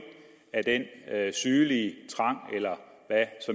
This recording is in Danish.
af den sygelige trang eller hvad